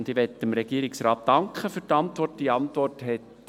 Ich möchte dem Regierungsrat für die Antwort danken.